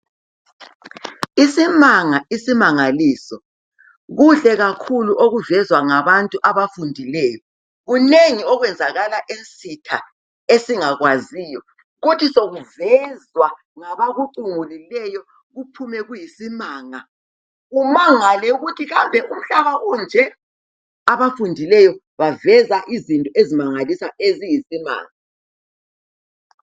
Isimanga, isimangaliso kuhle kakhulu okuvezwa ngabantu abfundileyo. Kunengi okwenzakala ensitha esingakwaziyo kuthi sokuvezwa ngabakucubungileyo kuphume sokuyisimanga umangake ukuthi kambe umhlaba unje. Abafundileyo baveza into ezimangalisayo eziyisimanga.